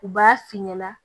U b'a f'i ɲɛna